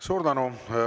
Suur tänu!